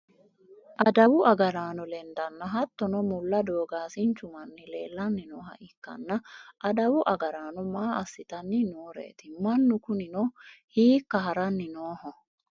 adawu agaraano lendanna hattono mulla doogaasinchu manni leellanni nooha ikkanna, adawu agaraano maa assitanni nooreeti? mannu kunino hiikka haranni nooho?